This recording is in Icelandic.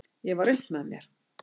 Ég var upp með mér!